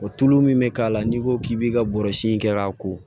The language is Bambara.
O tulu min bɛ k'a la n'i ko k'i b'i ka bɔrɔsi kɛ k'a ko